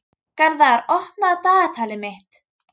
Garðar, opnaðu dagatalið mitt.